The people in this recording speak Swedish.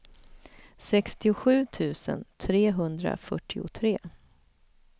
sextiosju tusen trehundrafyrtiotre